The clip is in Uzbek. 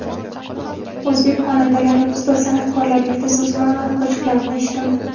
O‘zbek xonandalari, ustoz san’atkorlar Yulduz Usmonovani qo‘shiqlarini eshitaman.